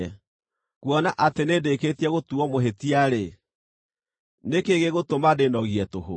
Kuona atĩ nĩndĩkĩtie gũtuuo mũhĩtia-rĩ, nĩ kĩĩ gĩgũtũma ndĩĩnogie tũhũ?